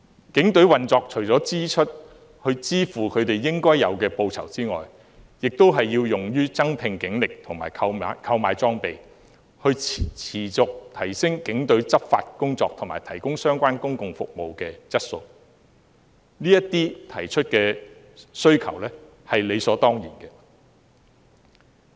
警隊的預算開支除了支付警員應得的報酬外，亦要用於增聘警力和購買裝備，以持續提升警隊的執法工作和提高相關公共服務的質素，他們提出的需求是理所當然的。